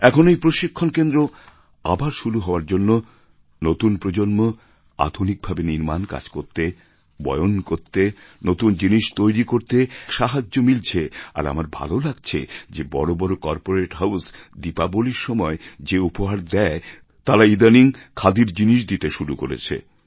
এখন এই প্রশিক্ষণ কেন্দ্র আবার শুরু হওয়ার জন্য নতুন প্রজন্ম আধুনিকভাবে নির্মাণ কাজ করতে বয়ন করতে নতুন জিনিস তৈরি করতে এক সাহায্য মিলছে আর আমার ভালো লাগছে যে বড় বড় করপোরেট হাউস দীপাবলির সময় যে উপহার দেয় তারা ইদানিং খাদির জিনিস দিতে শুরু করেছে